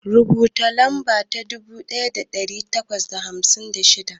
Rubuta lamba ta dubu ɗaya da ɗari takwas da hamsin da shida.